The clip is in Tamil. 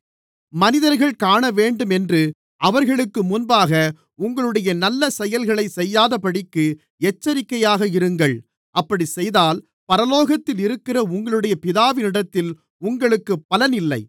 மனிதர்கள் காணவேண்டுமென்று அவர்களுக்கு முன்பாக உங்களுடைய நல்ல செயல்களைச் செய்யாதபடிக்கு எச்சரிக்கையாக இருங்கள் அப்படிச் செய்தால் பரலோகத்திலிருக்கிற உங்களுடைய பிதாவினிடத்தில் உங்களுக்குப் பலனில்லை